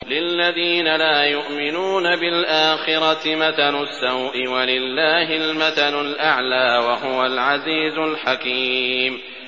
لِلَّذِينَ لَا يُؤْمِنُونَ بِالْآخِرَةِ مَثَلُ السَّوْءِ ۖ وَلِلَّهِ الْمَثَلُ الْأَعْلَىٰ ۚ وَهُوَ الْعَزِيزُ الْحَكِيمُ